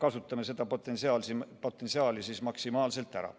Kasutame seda potentsiaali siis maksimaalselt ära.